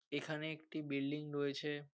এখানে একটি বিল্ডিং রয়েছে।